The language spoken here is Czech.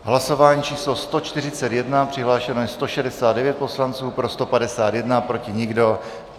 Hlasování číslo 141, přihlášeno je 169 poslanců, pro 151, proti nikdo.